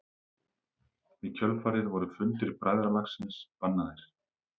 Í kjölfarið voru fundir bræðralagsins bannaðir.